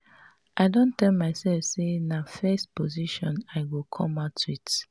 i don tell myself say na first position i go come out with